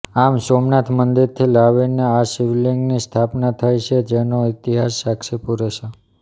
આમ સોમનાથ મંદિરથી લાવીને આ શિવલીંગની સ્થાપના થઈ છે જેનો ઇતિહાસ સાક્ષી પુરે છે